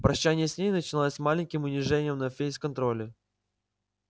прощание с ней начиналось маленьким унижением на фейс-контроле